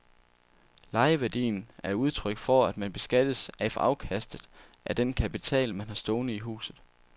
Lejeværdien er udtryk for, at man beskattes af afkastet af den kapital, man har stående i huset.